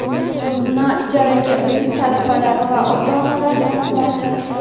na ijaraga uy - talabalar va ota-onalar muammosi.